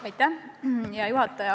Hea juhataja!